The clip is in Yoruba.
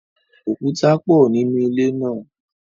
Òkúta pọ nínú ilé náà.